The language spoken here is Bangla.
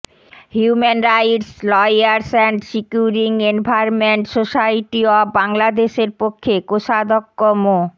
human rights lawyers and securing environment society of বাংলাদেশের পক্ষে কোষাধ্যক্ষ মো